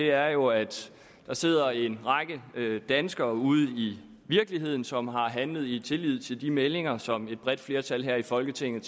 er jo at der sidder en række danskere ude i virkeligheden som har handlet i tillid til de meldinger som et bredt flertal her i folketinget